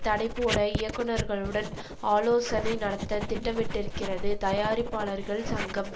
தடை போட இயக்குனர்களுடன் ஆலோசனை நடத்த திட்டமிட்டிருக்கிறது தயாரிப்பாளர்கள் சங்கம்